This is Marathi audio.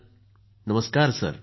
नावीदः नमस्कार सर ।